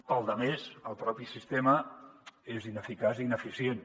per a la resta el propi sistema és ineficaç i ineficient